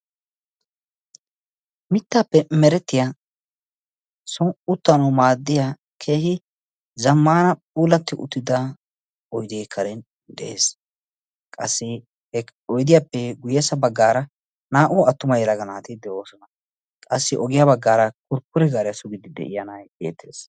mitaappe merettiya soni uttanawu maadiya zamaaana puulati uttida oydee dees, ha oydiyappe guyessa bagaara naa"u attuma naati de'oosona, qassi ogiya bagaara kurkure gaaariyaya sugiya na"ay beetees.